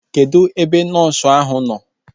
Kedụ ebe nọọsu ahu nọ?